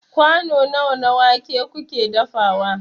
kwano nawa na wake kuke dafawa